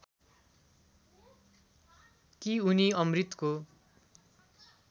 कि उनी अमृतको